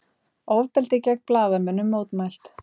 Ofbeldi gegn blaðamönnum mótmælt